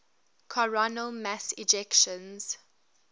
coronal mass ejections